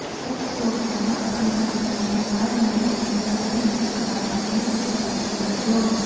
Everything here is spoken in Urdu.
صدر اوباما کا میانمار میں سیاسی اصلاحات تیز کرنے پر زور